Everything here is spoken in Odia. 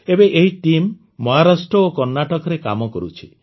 ଏବେ ଏହି ଟିମ୍ ମହାରାଷ୍ଟ୍ର ଓ କର୍ଣ୍ଣାଟକରେ କାମ କରୁଛି